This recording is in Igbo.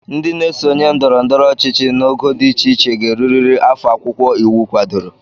Ndị na-esonye ndọrọndọrọ ọchịchị n'ogo dị iche iche ga-erurịrị afọ akwụkwọ iwu kwadoro